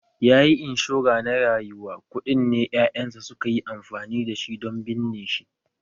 Yayi inshora na rayuwa, kuɗin ne ƴaƴansa suka yi amfani da shi don binne shi